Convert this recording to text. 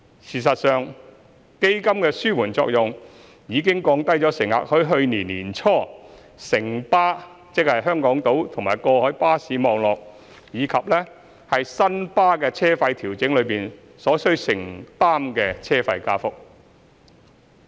事實上，基金的紓緩作用已降低乘客在去年年初城巴，即香港島及過海巴士網絡，以及新巴的車費調整中所需承擔的車費加幅。